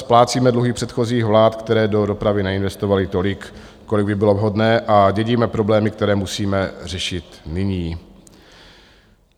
Splácíme dluhy předchozích vlád, které do dopravy neinvestovaly tolik, kolik by bylo vhodné, a dědíme problémy, které musíme řešit nyní.